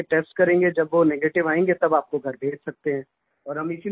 फिर हम आपके टेस्ट करेंगे जब वो नेगेटिव आयेंगे तो आपको घर भेज सकते हैं